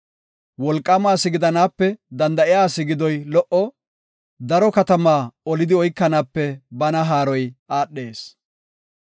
Wolqaama asi gidanaape danda7a asi gidoy lo77o, daro katamata olidi oykanaape bana haaroy aadhees.